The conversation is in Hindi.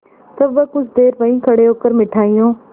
तब वह कुछ देर वहीं खड़े होकर मिठाइयों